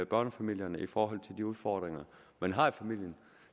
børnefamilierne i forhold til de udfordringer man har i familien